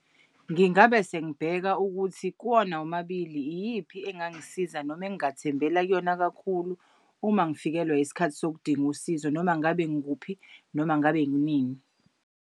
Ngingabe sengibheka ukuthi kuwona omabili iyiphi engangisiza noma engingathembeka kuyona kakhulu uma ngifikelwa isikhathi sokudinga usizo noma ngabe ngikuphi noma ngabe kunini.